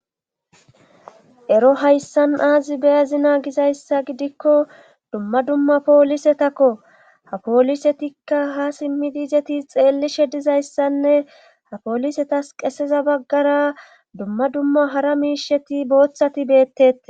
ero hayssan aazi beyazina gizayssa gidikko dumma dumma poolisetakko ha poolisetikka ha simmidi izeti xeellishe dizayssanne ha poolisetas qeseza baggara dumma dumma hara miisheti booththati beettetes